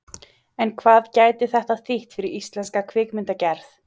En hvað gæti þetta þýtt fyrir íslenska kvikmyndagerð?